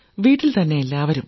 വീട്ടിൽത്തന്നെ എല്ലാവരും